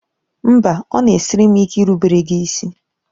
Mba! Ọ na-esiri m ike irubere gị isi.